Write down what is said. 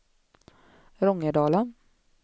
Rångedala